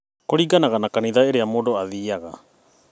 Kũringanaga na kanitha ĩrĩa mũndũ athiaga